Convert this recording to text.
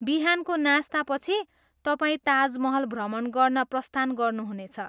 बिहानको नास्तापछि, तपाईँ ताज महल भ्रमण गर्न प्रस्थान गर्नुहुनेछ।